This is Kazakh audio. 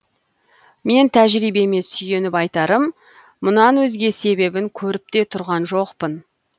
мен тәжірибеме сүйеніп айтарым мұнан өзге себебін көріп те тұрған жоқпын